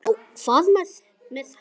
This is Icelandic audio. Já, hvað með þær?